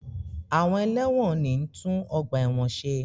Àwọn ẹlẹ́wọ̀n ni ń tún ọgbà ẹ̀wọ̀n ṣe